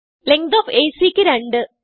length of AC ക്ക് 2